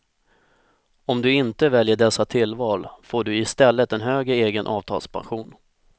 Om du inte väljer dessa tillval får du i stället en högre egen avtalspension.